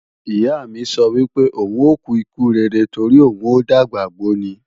Ìyá mi sọ wípé, òun ò kú ikú rere torí òun ò dàgbà gbó ni.